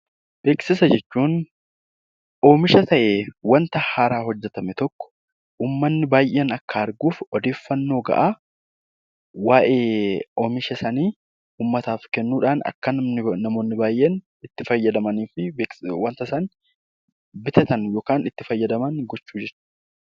Beeksisa jechuun oomisha ta'ee waan haaraa bahe tokko uummanni baayyeen akka arguuf odeeffannoo gahaa waa'ee Oomisha sanaa uummataaf kennuun namoonni baayyeen itti fayyadamanii fi waanta isaan bitatan fi waan godhani